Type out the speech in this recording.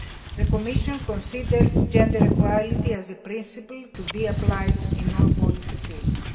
The Commission considers gender equality to be a principle to be applied in all policy fields.